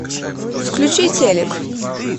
включи телек